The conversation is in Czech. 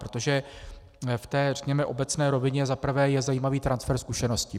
Protože v té řekněme obecné rovině je za prvé zajímavý transfer zkušeností.